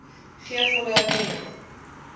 gee volle erkenning